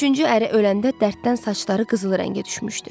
Üçüncü əri öləndə dərddən saçları qızılı rəngə düşmüşdü.